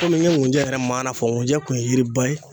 Kɔmi n ye nkunjɛ yɛrɛ maana fɔ , nkunjɛ kun ye yiriba ye.